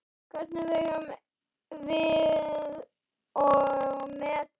Hvernig vegum við og metum?